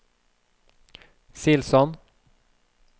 Silsand